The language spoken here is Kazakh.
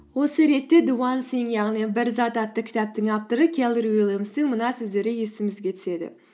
осы ретте зе уан синк яғни бір зат атты кітаптың авторы келлер уильямстың мына сөздері есімізге түседі